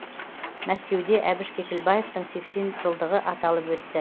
мәскеуде әбіш кекілбаевтың сексен жылдығы аталып өтті